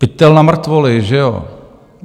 Pytel na mrtvoly, že jo?